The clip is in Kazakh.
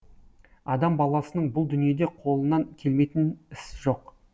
адам баласының бұл дүниеде қолынан келмейтін іс жоқ